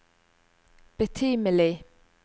betimelig